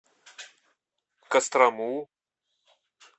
кострому